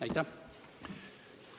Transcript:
Aitäh!